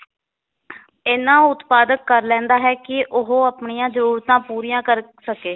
ਇੰਨਾ ਉਤਪਾਦਕ ਕਰ ਲੈਂਦਾ ਹੈ ਕਿ ਉਹ ਆਪਣੀਆਂ ਜਰੂਰਤਾਂ ਪੂਰੀਆਂ ਕਰ ਸਕੇ।